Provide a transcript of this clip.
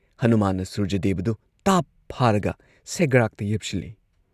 ꯍꯅꯨꯃꯥꯟꯅ ꯁꯨꯔꯖꯗꯦꯕꯗꯨ ꯇꯥꯞ ꯐꯥꯔꯒ ꯁꯦꯒ꯭ꯔꯥꯛꯇ ꯌꯦꯞꯁꯤꯜꯂꯤ ꯫